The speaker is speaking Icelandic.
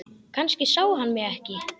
Kannski sá hann mig ekki.